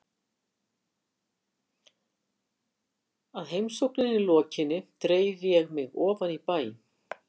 Að heimsókninni lokinni dreif ég mig ofan í bæ.